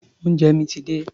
Oúnjẹ mi ti dé.